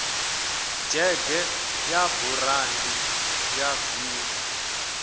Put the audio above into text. dzhege ya burandi ya v